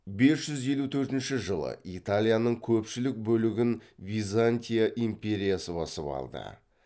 бес жүз елу төртінші жылы италияның көпшілік бөлігін византия империясы басып алды